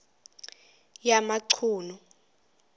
yamachunu